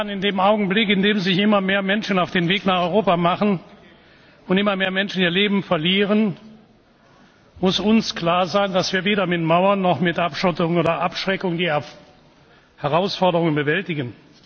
In dem Augenblick, in dem sich immer mehr Menschen auf den Weg nach Europa machen und immer mehr Menschen ihr Leben verlieren, muss uns klar sein, dass wir weder mit Mauern noch mit Abschottung oder Abschreckung die Herausforderungen bewältigen.